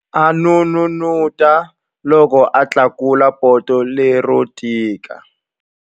A n'unun'uta loko a tlakula poto lero tika.